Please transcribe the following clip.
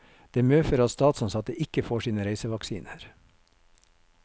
Det medfører at statsansatte ikke får sine reisevaksiner.